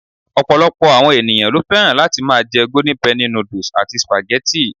Ọ̀pọ̀lọpọ̀ àwọn ènìyàn lo fẹ́ràn láti ma jẹ́ Golden Penny noodles and spaghetti